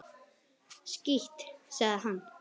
Skítt, sagði hann.